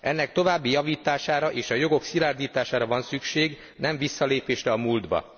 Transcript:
Ennek további javítására, és a jogok szilárdítására van szükség, nem visszalépésre a múltba.